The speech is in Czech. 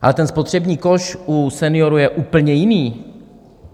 Ale ten spotřební koš u seniorů je úplně jiný.